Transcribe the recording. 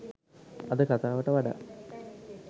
අද කතාවට වඩා